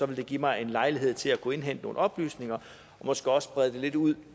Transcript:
det give mig en lejlighed til at kunne indhente nogle oplysninger og måske også brede lidt ud